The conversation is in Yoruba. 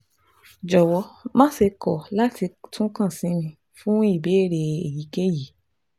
Jọ̀wọ́ máṣe kọ̀ láti tún kàn sí mi fún ìbéèrè èyíkéyìí